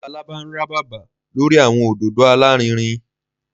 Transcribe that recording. Labalaba nràbaba lori awọn ododo alarinrin.